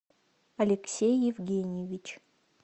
алексей евгеньевич